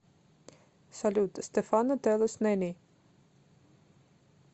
салют стефано телус нани